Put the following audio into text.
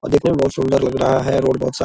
और देखने मे बहुत सुंदर लग रहा है रोड बहुत साफ --